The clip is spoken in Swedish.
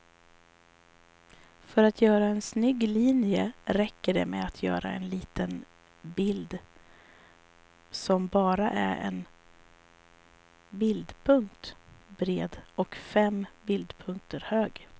För att göra en snygg linje räcker det med att göra en liten bild som bara är en bildpunkt bred och fem bildpunkter hög.